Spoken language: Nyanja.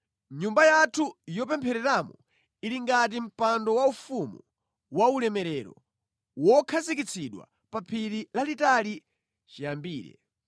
Nyumba yathu yopemphereramo ili ngati mpando waufumu waulemerero wokhazikitsidwa pa phiri lalitali chiyambire.